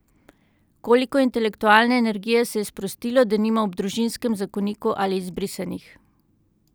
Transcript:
Koliko intelektualne energije se je sprostilo, denimo, ob družinskem zakoniku ali izbrisanih!